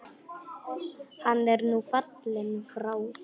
Hann er nú fallinn frá.